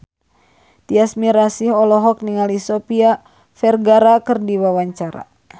Tyas Mirasih olohok ningali Sofia Vergara keur diwawancara